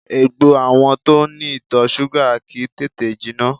Egbò àwọn tó ní ìtọ̀ súgà kìí tètè jiná